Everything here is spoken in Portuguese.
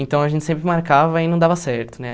Então, a gente sempre marcava e não dava certo né.